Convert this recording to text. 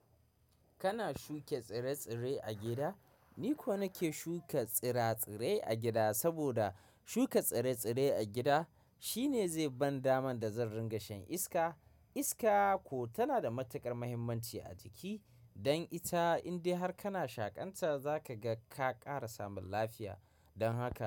Kana shuke tsire-tsire a gida? Ni ko nake shuka tsire-tsire a gida, saboda shuka tsire-tsire a gida shine zai ban daman da zan ringa shan iska. Iska ko tana da matuƙar mahimmanci a jiki. Dan ita in dai har kana shakanta, zaka ga ka ƙara samun lafiya. Dan haka.